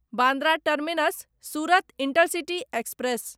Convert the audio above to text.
Bandra terminus Surat intercity express